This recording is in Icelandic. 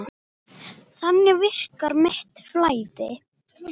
Þannig virkar mitt flæði.